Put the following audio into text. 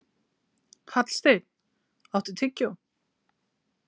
Hallsteinn, áttu tyggjó?